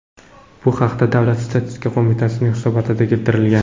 Bu haqda Davlat statistika qo‘mitasining hisobotida keltirilgan .